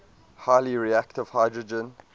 highly reactive hydrogen